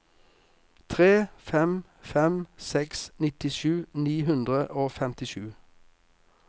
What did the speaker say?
tre fem fem seks nittisju ni hundre og femtisju